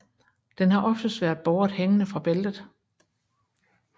Den har oftest været båret hængende fra bæltet